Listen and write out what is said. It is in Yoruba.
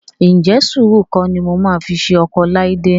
Ǹjẹ́ sùúrù kọ́ ni mo máa fi ṣe ọkọ Ọláídé?